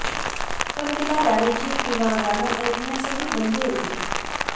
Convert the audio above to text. पण तिला गाण्याची किंवा गाणं ऐकण्यासही बंदी होती